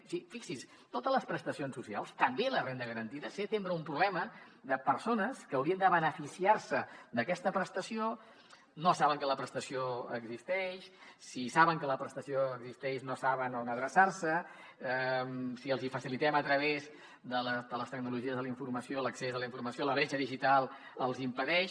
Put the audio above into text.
o sigui fixi s’hi totes les prestacions socials també la renda garantida sempre tenen un problema persones que haurien de beneficiar se d’aquesta prestació no saben que la prestació existeix si saben que la prestació existeix no saben on adreçar se si els hi facilitem a través de les tecnologies de la informació l’accés a la informació la bretxa digital els hi impedeix